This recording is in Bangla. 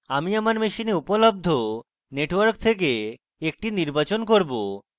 আমি আমার machine উপলব্ধ networks থেকে একটি নির্বাচন করব